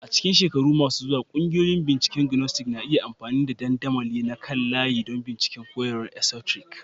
A cikin shekaru masu zuwa, ƙungiyoyin binciken Gnostic na iya amfani da dandamali na kan layi don bincika koyarwar esoteric.